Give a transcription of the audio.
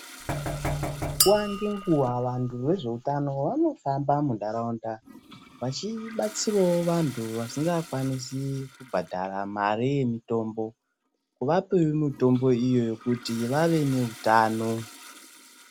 Nguwa ngenguwa vantu vezveutana vanohamba munharaunda vachibatsiravo vantu vasingakwanisi kubhadhara mari yemutombo kuvapevo mutombo iyoyo kuti vave neutano.